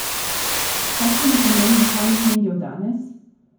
Kakšen je pomen lokalnih medijev danes?